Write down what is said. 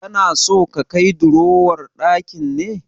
Kana so ka kai durowar ɗakin ne?